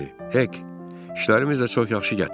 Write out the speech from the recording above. Hek, işlərimiz də çox yaxşı gətirdi.